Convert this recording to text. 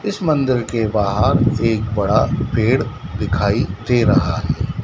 इस मंदिर के बाहर एक बड़ा पेड़ दिखाई दे रहा है।